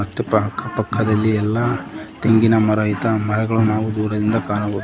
ತ್ತು ಅಕ್ಕಪಕ್ಕದಲ್ಲಿ ಎಲ್ಲಾ ತೆಂಗಿನ ಮರ ಹಿತ ಮರಗಳು ನಾವು ದೂರದಿಂದ ಕಾಣಬಹುದು.